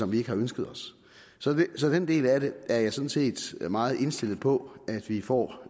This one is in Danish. vi ikke har ønsket os så den del af det er jeg sådan set meget indstillet på at vi får